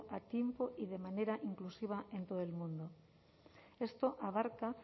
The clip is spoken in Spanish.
a tiempo y de manera inclusiva en todo el mundo esto abarca